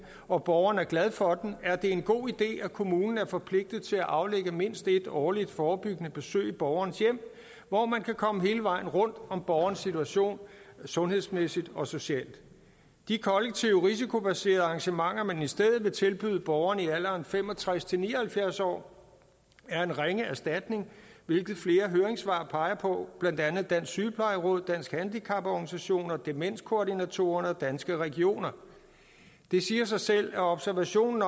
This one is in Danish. og borgeren er glad for den er det en god idé at kommunen er forpligtet til at aflægge mindst et årligt forebyggende besøg i borgerens hjem hvor man kan komme hele vejen rundt om borgerens situation sundhedsmæssigt og socialt de kollektive risikobaserede arrangementer man i stedet vil tilbyde borgerne i alderen fem og tres til ni og halvfjerds år er en ringe erstatning hvilket flere høringssvar peger på blandt andet dem sygeplejeråd danske handicaporganisationer demenskoordinatorer i danmark og danske regioner det siger sig selv at observationen